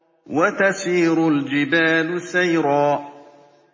وَتَسِيرُ الْجِبَالُ سَيْرًا